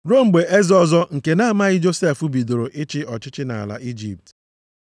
ruo mgbe eze ọzọ nke na-amaghị Josef, bidoro ịchị ọchịchị nʼala Ijipt. + 7:18 \+xt Ọpụ 1:8\+xt*